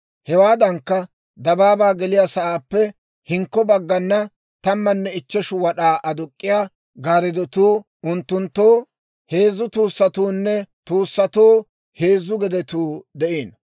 Hewaadankka, dabaabaa geliyaa sa'aappe hinkko baggana, tammanne ichcheshu wad'aa aduk'k'iyaa gaariddotuu, unttunttoo heezzu tuussatuunne tuussatoo heezzu gedetuu de'iino.